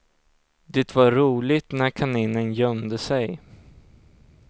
Det var roligt när kaninen gömde sig.